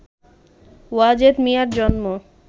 ওয়াজেদ মিয়ার জন্ম